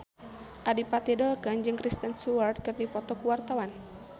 Adipati Dolken jeung Kristen Stewart keur dipoto ku wartawan